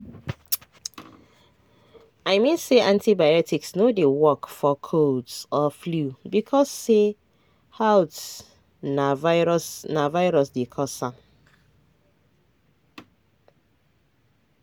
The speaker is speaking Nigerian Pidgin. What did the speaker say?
i mean say antibiotics no dey work for colds or flu because say haltna virus dey cause dem.